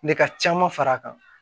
Ne ka caman far'a kan